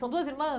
São duas irmãs?